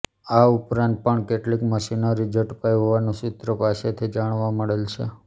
આ ઉપરાંત પણ કેટલીક મશીનરી ઝડપાઈ હોવાનુ સુત્રો પાસેથી જાણવા મળેલ છે